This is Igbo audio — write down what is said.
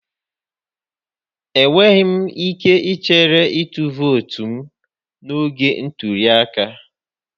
Enweghị m ike ichere ịtụ vootu m n'oge ntuli aka